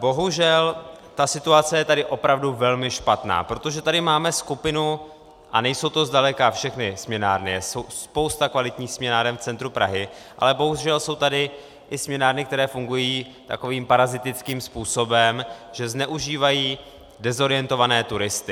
Bohužel ta situace je tady opravdu velmi špatná, protože tady máme skupinu, a nejsou to zdaleka všechny směnárny, je spousta kvalitních směnáren v centru Prahy, ale bohužel jsou tady i směnárny, které fungují takovým parazitickým způsobem, že zneužívají dezorientované turisty.